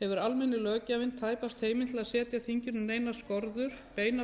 hefur almenni löggjafinn tæpast heimild til þess að setja þinginu beinar skorður í þeim